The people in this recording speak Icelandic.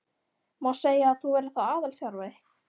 Má segja að þú verðir þá aðalþjálfari?